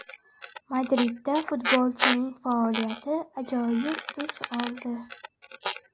Madridda futbolchining faoliyati ajoyib tus oldi.